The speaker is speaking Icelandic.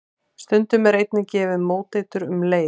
Stundum er einnig gefið móteitur um leið.